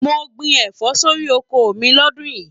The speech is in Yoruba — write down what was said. Mo gbìn ẹfọ sórí oko mí l'ọdun yìí.